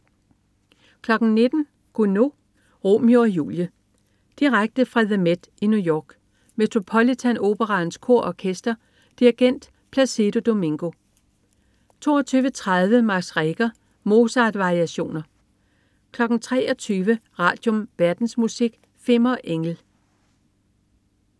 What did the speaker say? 19.00 Gounod: Romeo og Julie. Direkte fra The MET i New York. Metropolitan Operaens Kor og Orkester. Dirigent: Plácido Domingo 22.30 Max Reger: Mozart-variationer 23.00 Radium. Verdensmusik. Fimmer Engel